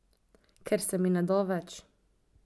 Ker se mi ne da več.